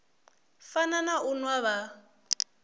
fana na u nwa vha